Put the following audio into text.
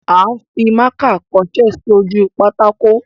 À ń fimákà kọṣẹ́ sí ojú pátákó.